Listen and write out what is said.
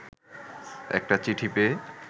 একটা চিঠি পেয়ে